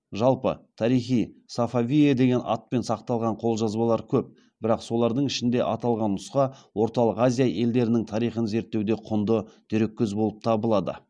жалпы тарихи сафавие деген атпен сақталған қолжазбалар көп бірақ солардың ішінде аталған нұсқа орталық азия елдерінің тарихын зерттеуде құнды дереккөз болып табылады